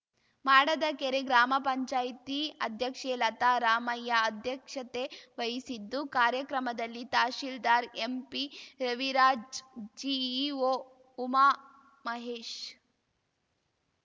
ಮಾಡದಕೆರೆ ಗ್ರಾಮ ಪಂಚಾಯ್ತಿ ಅಧ್ಯಕ್ಷೆ ಲತಾ ರಾಮಯ್ಯ ಅಧ್ಯಕ್ಷತೆ ವಹಿಸಿದ್ದು ಕಾರ್ಯಕ್ರಮದಲ್ಲಿ ತಹಸೀಲ್ದಾರ್‌ ಎಂಪಿ ರವಿರಾಜ್‌ ಜಿಇಒ ಉಮಾ ಮಹೇಶ್‌